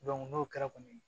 n'o kɛra kɔni